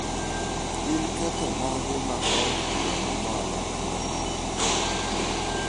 Gin ketho mage ma od mamalo ema nono?